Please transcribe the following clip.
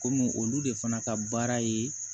Komi olu de fana ka baara ye